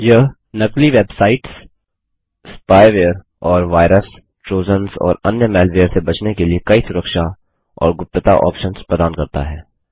यह नकली websites spyware और वायरस ट्रोजन्स और अन्य मैलवेयर से बचने के लिए कई सुरक्षा और गुप्तता ऑप्शंस प्रदान करता है